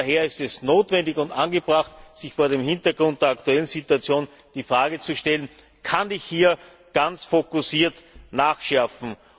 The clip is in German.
Daher ist es notwendig und angebracht, sich vor dem Hintergrund der aktuellen Situation die Frage zu stellen Kann ich hier ganz fokussiert nachschärfen?